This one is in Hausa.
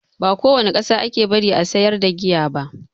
Ba ko wani ƙasa ake bari a sayar da giya ba